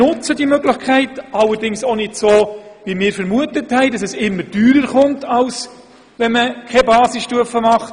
Zuerst haben wir vermutet, dass eine Basisstufe immer teurer ist als ein Kindergarten.